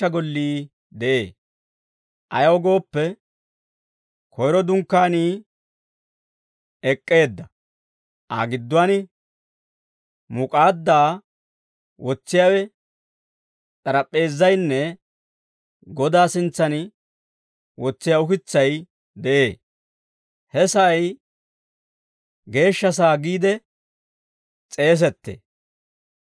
Ayaw gooppe, koyro Dunkkaanii ek'k'eedda; Aa gidduwaan muk'aaddaa wotsiyaawe, s'arap'p'eezaynne Godaa sintsan wotsiyaa ukitsay de'ee; he sa'ay Geeshsha sa'aa giide s'eeseettee.